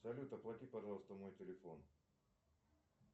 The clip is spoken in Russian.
салют оплати пожалуйста мой телефон